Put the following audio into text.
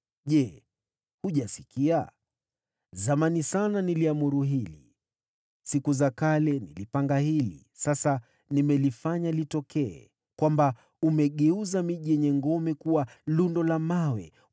“ ‘Je, hujasikia? Zamani sana niliamuru hili. Siku za kale nilipanga hili; sasa nimelifanya litokee, kwamba umegeuza miji yenye ngome kuwa malundo ya mawe.